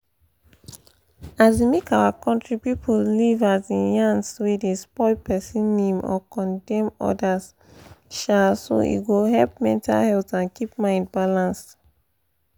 um make our country people leave um yans wey dey spoil person name or condemn others um so e go help mental health and keep mind balanced.